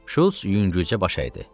Şults yüngülcə baş əydi.